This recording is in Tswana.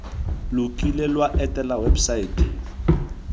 lo kile lwa etela websaete